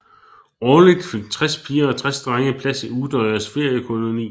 Årligt fik tres piger og tres drenge plads i Utøyas feriekoloni